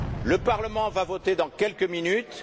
Le Parlement va voter dans quelques minutes.